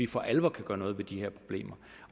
for alvor kan gøre noget ved de her problemer